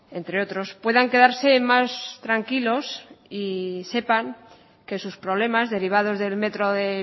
entre otros puedan quedarse más tranquilos y sepan que sus problemas derivados del metro de